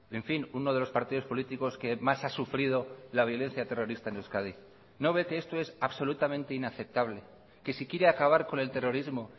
en fin uno de los partidos políticos que más ha sufrido la violencia terrorista en euskadi no ve que esto es absolutamente inaceptable que si quiere acabar con el terrorismo